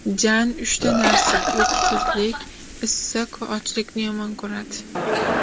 Jan uchta narsa: uyqusizlik, issiq va ochlikni yomon ko‘radi.